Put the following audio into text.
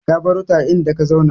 Ka barota a inda ka zauna.